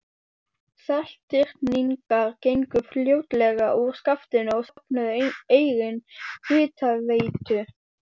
Seltirningar gengu fljótlega úr skaftinu og stofnuðu eigin hitaveitu.